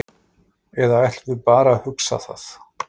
Eða ætlum við bara að hugsa það?